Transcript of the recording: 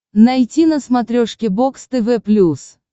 найти на смотрешке бокс тв плюс